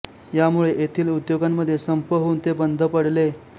यामुळे येथील उद्योगांमध्ये संप होउन ते बंद पडले